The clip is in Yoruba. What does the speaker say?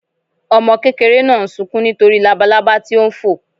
Ọmọ kékeré náà sunkún nítorí labalaba tí ó ń fò.